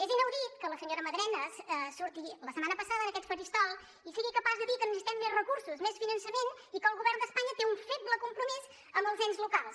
és inaudit que la senyora madrenas surti la setmana passada en aquest faristol i sigui capaç de dir que necessitem més recursos més finançament i que el govern d’espanya té un feble compromís amb els ens locals